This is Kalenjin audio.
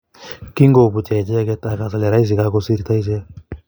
Kingoputya icheket akas ale raisi kokakosirta echek.